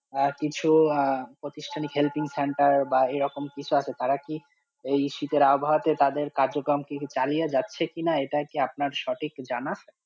আর কিছু আঃ প্রতিষ্ঠানিক helping center বা এই রকম কিছু আছে তারা কি এই শীতের আবহাওয়াতে তাদের কার্যক্রম চালিয়ে যাচ্ছে কি না ইটা কি আপনার সঠিক জানা।